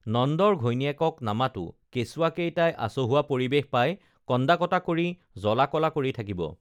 নন্দৰ ঘৈণীয়েকক নামাতো কেঁচুৱাকেইটাই আচহুৱা পৰিৱেশ পাই কন্দা কটা কৰি জ্বলা কলা কৰি থাকিব